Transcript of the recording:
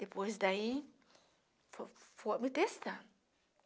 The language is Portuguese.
Depois daí, fo foi me testando.